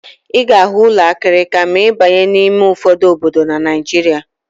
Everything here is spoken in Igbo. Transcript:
Ị ga-ahụ ụlọ akịrịka ma ị baa n'ime ụfọdụ obodo na Naịjirịa.